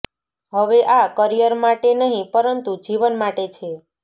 હવે આ કરિયર માટે નહીં પરંતુ જીવન માટે છે